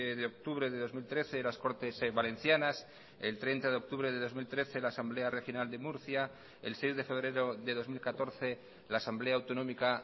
de octubre de dos mil trece las cortes valencianas el treinta de octubre de dos mil trece la asamblea regional de murcia el seis de febrero de dos mil catorce la asamblea autonómica